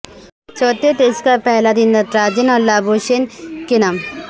چوتھے ٹسٹ کا پہلا دن نٹراجن اور لابو شین کے نام